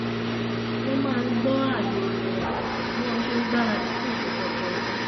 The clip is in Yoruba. wọ́n máa ń gbọ́ ààyo orin wọn bí wọn ṣe ń gbaradì fún ìpéjọpọ̀ ẹbí